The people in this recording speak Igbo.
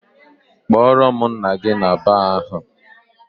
Kpọrọ m nna gị na baar ahụ!